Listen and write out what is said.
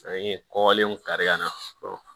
An ye kɔkɔlenw kari ka na